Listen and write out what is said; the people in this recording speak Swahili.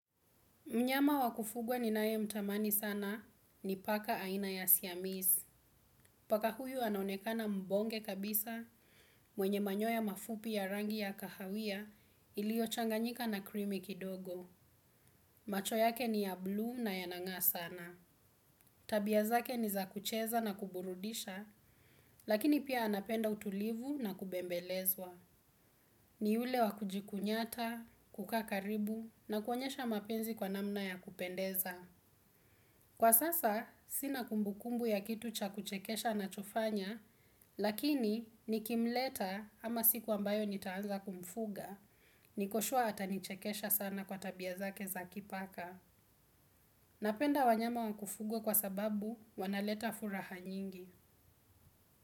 Mnyama wa kufugwa ninayemtamani sana ni paka aina ya siamiz. Paka huyu anaonekana mbonge kabisa mwenye manyoya mafupi ya rangi ya kahawia iliochanganyika na krimi kidogo. Macho yake ni ya blue na yanang'aa sana. Tabia zake ni za kucheza na kuburudisha, lakini pia anapenda utulivu na kubembelezwa. Ni ule wa kujikunyata, kukaa karibu na kuonyesha mapenzi kwa namna ya kupendeza. Kwa sasa, sina kumbukumbu ya kitu cha kuchekesha nachofanya, lakini nikimleta ama siku ambayo nitaanza kumfuga, niko sure atanichekesha sana kwa tabia zake za kipaka. Napenda wanyama wa kufugwa kwa sababu wanaleta furaha nyingi.